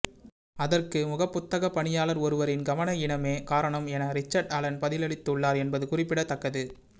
அதற்கு முகப்புத்தக பணியாளர் ஒருவரின் கவனயீனமே காரணம் என ரிச்சர்ட் அலன் பதிலளித்துள்ளார் என்பது குறிப்பிடத்தக்கது